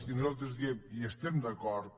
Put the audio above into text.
i nosaltres diem hi estem d’acord